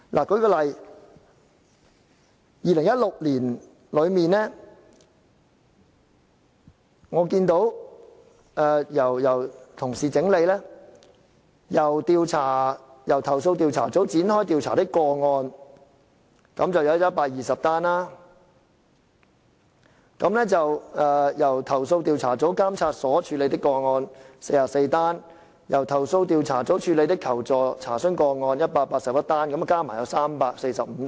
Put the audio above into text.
舉例而言，根據由同事整理2016年的數字，由投訴調查組展開調查的個案有120宗，由投訴調查組監察所處理的個案有44宗，由投訴調查組處理的求助/查詢個案有181宗，全部合共345宗。